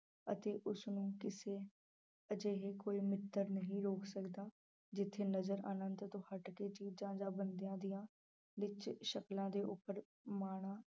ਅਤੇ ਉਸਨੂੰ ਕਿਸੇ ਅਜਿਹੇ ਕੋਈ ਮਿੱਤਰ ਨਹੀਂ ਰੋਕ ਸਕਦਾ ਜਿੱਥੇ ਨਜ਼ਰ ਆਨੰਤ ਤੋਂ ਹੱਟ ਕੇ ਚੀਜ਼ਾਂ ਜਾਂ ਬੰਦਿਆਂ ਦੀਆਂ ਵਿੱਚ ਸ਼ਕਲਾਂ ਦੇ ਉੱਪਰ ਮਾਣਾਂ